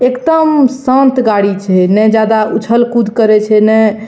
एकदम शांत गाड़ी छै ने ज्यादा उछल कूद करे छै ने --